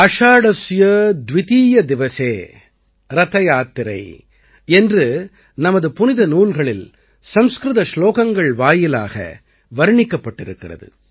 ஆஷாடஸ்ய துவிதீயதிவசே ரதயாத்திரை என்று நமது புனித நூல்களில் சம்ஸ்கிருத சுலோகங்கள் வாயிலாக வர்ணிக்கப்பட்டிருக்கிறது